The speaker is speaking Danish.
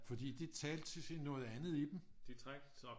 Fordi det talte til noget andet i dem